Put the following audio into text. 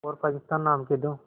और पाकिस्तान नाम के दो